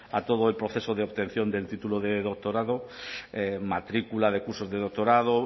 a todo el proceso de obtención del título de doctorado matrícula de cursos de doctorado